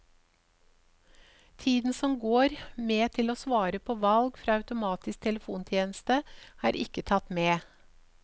Tiden som går med til å svare på valg fra automatisk telefontjeneste, er ikke tatt med.